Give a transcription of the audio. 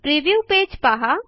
preview page पहा